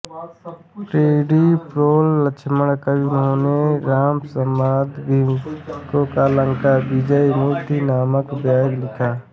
पिडिप्रोल लक्ष्मण कवि इन्होंने रावणदंभीयमु या लंका विजयमुद्ध नामक काव्य लिखा